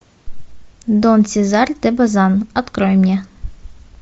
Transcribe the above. дон сезар де базан открой мне